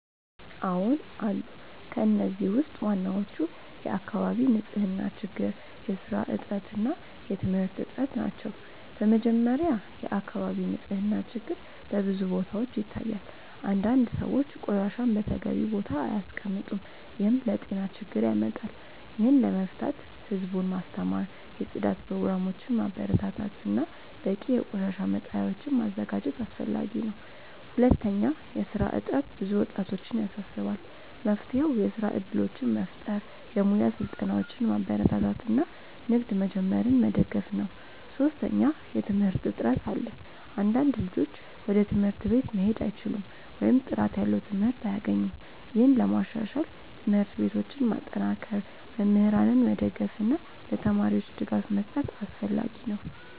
አዎን አሉ። ከእነዚህ ውስጥ ዋናዎቹ የአካባቢ ንፅህና ችግር፣ የስራ እጥረት እና የትምህርት እጥረት ናቸው። በመጀመሪያ፣ የአካባቢ ንፅህና ችግር በብዙ ቦታዎች ይታያል። አንዳንድ ሰዎች ቆሻሻን በተገቢው ቦታ አያስቀምጡም፣ ይህም ለጤና ችግር ያመጣል። ይህን ለመፍታት ህዝቡን ማስተማር፣ የጽዳት ፕሮግራሞችን ማበረታታት እና በቂ የቆሻሻ መጣያዎችን ማዘጋጀት አስፈላጊ ነው። ሁለተኛ፣ የስራ እጥረት ብዙ ወጣቶችን ያሳስባል። መፍትሄው የስራ እድሎችን መፍጠር፣ የሙያ ስልጠናዎችን ማበረታታት እና ንግድ መጀመርን መደገፍ ነው። ሶስተኛ፣ የትምህርት እጥረት አለ። አንዳንድ ልጆች ወደ ትምህርት ቤት መሄድ አይችሉም ወይም ጥራት ያለው ትምህርት አያገኙም። ይህን ለማሻሻል ትምህርት ቤቶችን ማጠናከር፣ መምህራንን መደገፍ እና ለተማሪዎች ድጋፍ መስጠት አስፈላጊ ነው።